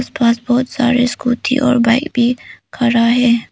पास बहोत सारे स्कूटी और बाइक भी खड़ा है।